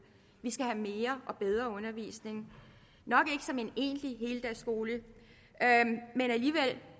vi skal have mere og bedre undervisning nok ikke som en egentlig heldagsskole men alligevel